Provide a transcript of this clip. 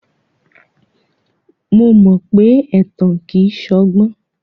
Mo mọ pé ẹ̀tàn kìí ṣọgbọ́n.